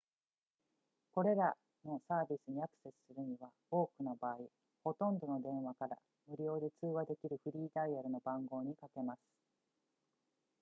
これらのサービスにアクセスするには多くの場合ほとんどの電話から無料で通話できるフリーダイヤルの番号にかけます